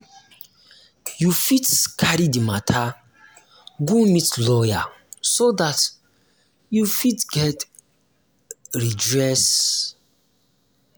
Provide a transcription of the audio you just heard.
you fit um carry the matter go meet lawyer so dat um you fit get redress um